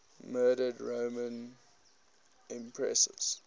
murdered roman empresses